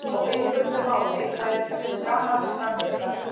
Á einföldu máli væri þessi rafmagnsframleiðsla unnin fyrir gýg!